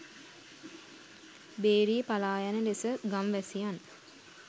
බේරී පලායන ලෙස ගම්වැසියන්